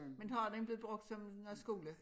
Men så er den blevet brugt som noget skole